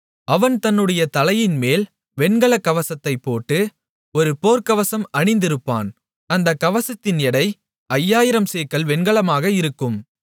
அவன் தன்னுடைய தலையின்மேல் வெண்கல கவசத்தைப் போட்டு ஒரு போர்க்கவசம் அணிந்திருப்பான் அந்தக் கவசத்தின் எடை ஐயாயிரம் சேக்கல் வெண்கலமாக இருக்கும்